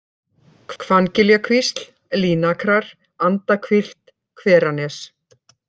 Hvanngiljakvísl, Línakrar, Andahvilft, Hveranes